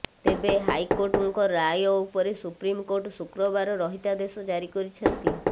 ତେବେ ହାଇକୋର୍ଟଙ୍କ ରାୟ ଉପରେ ସୁପ୍ରିମକୋର୍ଟ ଶୁକ୍ରବାର ରହିତାଦେଶ ଜାରି କରିଛନ୍ତି